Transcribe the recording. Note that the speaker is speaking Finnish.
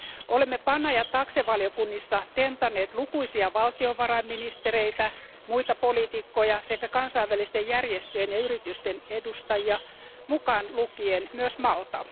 Olemme PANA ja TAXE valiokunnissa tentanneet lukuisia valtiovarainministereitä, muita poliitikkoja sekä kansainvälisten järjestöjen ja yritysten edustajia, mukaan lukien myös Malta.